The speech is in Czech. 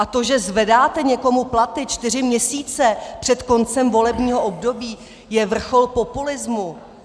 A to, že zvedáte někomu platy čtyři měsíce před koncem volebního období, je vrchol populismu.